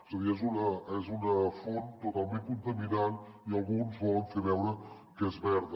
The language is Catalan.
és a dir és una font totalment contaminant i alguns volen fer veure que és verda